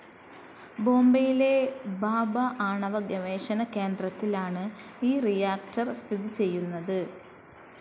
ബോംബെയിലെ ഭാഭാ ആണവ ഗവേഷണ കേന്ദ്ത്തിൽ ആണ് ഈ റിയാക്ടർ സ്ഥിതി ചെയുന്നത്.